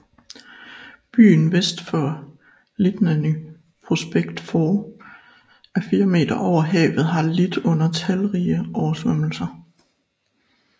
Byen vest for Liteyny Prospekt 4 m over havet har lidt under talrige oversvømmelser